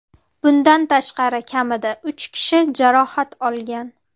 Bundan tashqari, kamida uch kishi jarohat olgan.